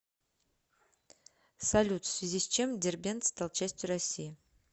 салют в связи с чем дербент стал частью россии